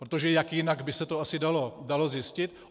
Protože jak jinak by se to asi dalo zjistit?